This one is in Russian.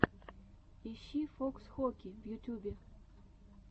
ищи фокс хоки в ютьюбе